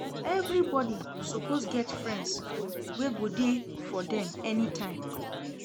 Everybodi suppose get friends wey go dey for dem anytime.